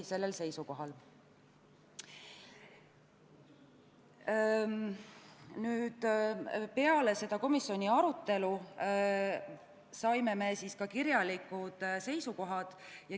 Peale komisjoni arutelu saime ka kirjalikud seisukohad.